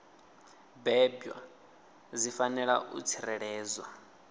bebwa dzi fanela u tsireledzwa